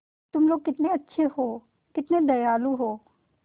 तुम लोग कितने अच्छे हो कितने दयालु हो